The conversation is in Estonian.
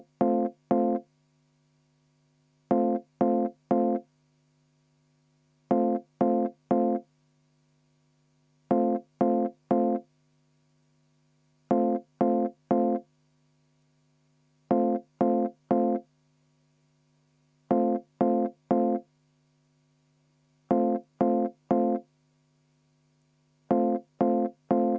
Vaheaeg 3 minutit.